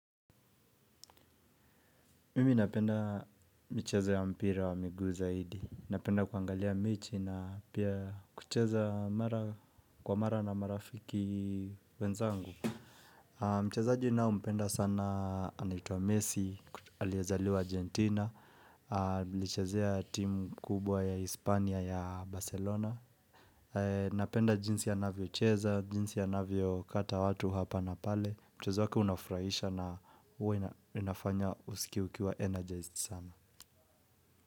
Mimi napenda michezo ya mpira wa miguu zaidi. Napenda kuangalia mechi na pia kucheza mara kwa mara na marafiki wenzangu. Mchezaji ninaye mpenda sana anaitwa Messi, aliyezaliwa Argentina, alichezea timu kubwa ya Hispania ya Barcelona. Napenda jinsi anavyo cheza, jinsi anavyo kata watu hapa na pale. Mchezo wake unafrahisha na uwe nafanya usikie ukiwa mchangamfu sana.